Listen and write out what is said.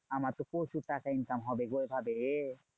আমার তো প্রচুর টাকা income হবে গো এইভাবে।